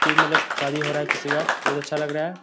ये मतलब शादी हो रहा है किसी का बहुत अच्छा लग रहा है।